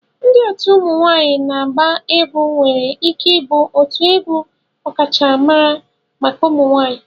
Ndị otu ụmụ nwanyị na-agba egwu nwere ike ịbụ otu egwu ọkachamara maka ụmụ nwanyị